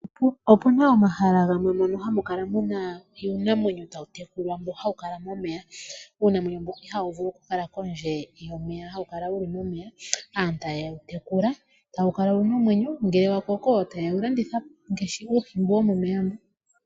Opuna omahala gamwe mono hamu kala muna uunamwenyo tawu tekulwa mo hawu kala momeya, uunamwenyo ihawu vulu okukala kondje yomeya hawu kala wuli momeya aantu taye wu tekula tawu kala wuna omwenyo ngele wa koko aantu taye wu landitha po ngaashi uuhi mbono womomeya.